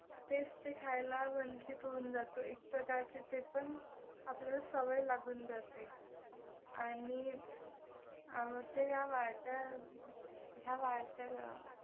तेच ते खायला वंचित होऊन जातो एक प्रकारचे ते पण आपल्याला सवय लागून जाते. आणि आमचे ह्या ह्या